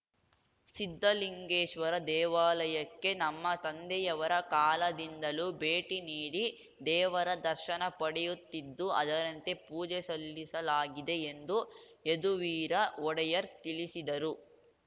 ಸಿದ್ಧಲಿಂಗೇಶ್ವರ ದೇವಾಲಯಕ್ಕೆ ನಮ್ಮ ತಂದೆಯವರ ಕಾಲದಿಂದಲೂ ಭೇಟಿ ನೀಡಿ ದೇವರ ದರ್ಶನ ಪಡೆಯುತ್ತಿದ್ದು ಅದರಂತೆ ಪೂಜೆ ಸಲ್ಲಿಸಲಾಗಿದೆ ಎಂದು ಯದುವೀರ ಒಡೆಯರ್ ತಿಳಿಸಿದರು